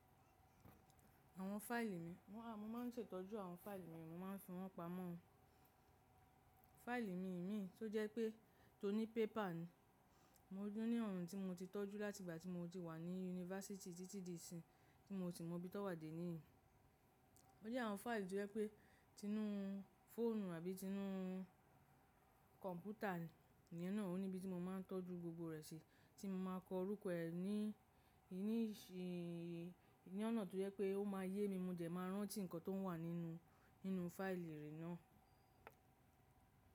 Àwọn fáìlì mi, mo máa ń ṣètọ́jú àwọn fáìlì mi, mo máa ń fi wọ́n pamọ́. Fáìlì mi ìmí tó jẹ́ pé tó ní pépa ni. Mo tun ni awon tí mo ti tọ́jú láti ìgbà tí mo ti wà ní yunifásítì títí di ìsin, tí mo sì mọ bí tọ́ wà dé níyìí. Ó jẹ́ àwọn fáìlì tí ó jẹ́ pé tinu fóònù àbí tinu kọ̀ǹpútà ni, iná òun níbi tí mo máa ń tọ́jú gbogbo rẹ̀ ṣe tí mo máa kọ orúkọ ẹ̀ ní, níníṣí, ní ọ̀nà tó jẹ́ pé ó máa yé mi mo jẹ̀ máa rántí nǹkan tó wà nínú, nínú fáìlì ìrì náà.